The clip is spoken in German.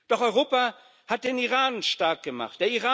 Doch Europa hat den Iran stark gemacht.